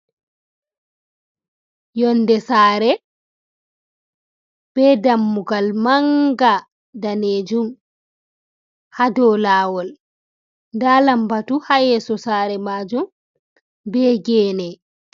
Yonde saare, be dammugal manga daneejum haado laawol ɗon lambatu haa yeeso saare maajum be geene.